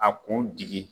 A kun digi